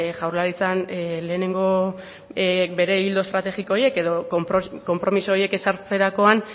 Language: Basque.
jaurlaritzan lehenengo bere ildo estrategiko horiek edo konpromiso horiek ezartzerakoan